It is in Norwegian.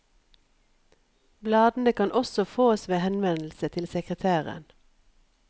Bladene kan også fåes ved henvendelse til sekretæren.